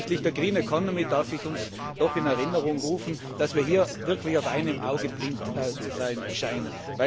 Hinsichtlich der Green economy darf ich uns doch in Erinnerung rufen, dass wir hier wirklich auf einem Auge blind zu sein scheinen.